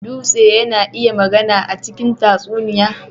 Dutse yana iya magana a cikin tatsuniya.